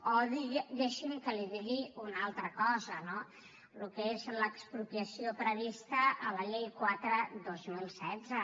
o deixi’m que li digui una altra cosa no el que és l’expropiació prevista a la llei quatre dos mil setze